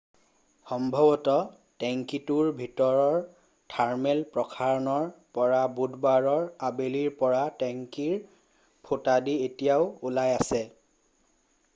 সম্ভৱত টেঙ্কীটোৰ ভিতৰৰ থাৰ্মেল প্ৰসাৰণৰ পৰা বুধবাৰৰ আবেলিৰ পৰা টেঙ্কীৰ ফুটাইদি এতিয়াও ওলাই আছে